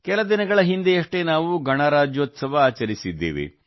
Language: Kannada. ಕೆಲ ದಿನಗಳ ಹಿಂದೆಯಷ್ಟೇ ನಾವು ಗಣರಾಜ್ಯೋತ್ಸವ ಆಚರಿಸಿದ್ದೇವೆ